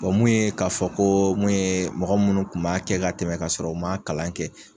mun ye k'a fɔ ko ye mun ye mɔgɔ minnu kun b'a kɛ ka tɛmɛ ka sɔrɔ u ma kalan kɛ